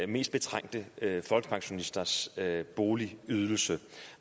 mest betrængte folkepensionisters boligydelse